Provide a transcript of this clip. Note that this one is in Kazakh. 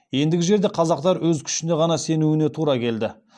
ендігі жерде қазақтар өз күшіне ғана сенуіне тура келді